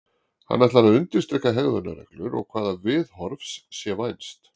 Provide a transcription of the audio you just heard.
Hann ætlar að undirstrika hegðunarreglur og hvaða viðhorfs sé vænst.